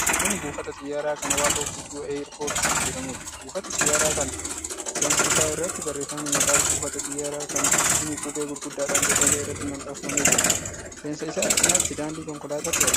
Kun buufata xiyyaaraa kan Waaqoo guutuu Aayirpoort jedhamuudha. Buufati xiyyaaraa kana seensa isaa irratti barreeffamni maqaa buufata xiyyaata kanaa himu qubee gurguddaadhaan bocamee irratti maxxanfamee jira. Seensa isaa cinaatti daandii konkolaatatu argama.